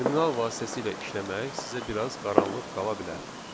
Terminal vasitəsilə işləmək sizə biraz qaranlıq qala bilər.